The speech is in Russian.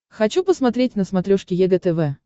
хочу посмотреть на смотрешке егэ тв